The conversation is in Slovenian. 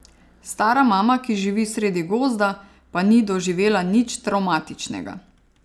Stara mama, ki živi sredi gozda, pa ni doživela nič travmatičnega.